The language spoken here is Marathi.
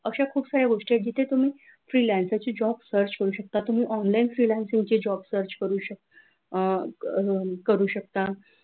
अशा खूप साऱ्या गोष्टी आहेत की जिथे तुम्ही freelancer चे job search करू शकता तुम्ही online freelancer चे job search करू शकता करू शकता.